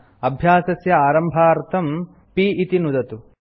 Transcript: अभ्यासस्य आरम्भार्थं p इति नुदतु